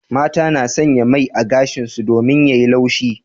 Mata na sanya mai a gashin su domin ya yi laushi.